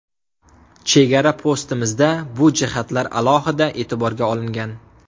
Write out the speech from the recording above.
Chegara postimizda bu jihatlar alohida e’tiborga olingan.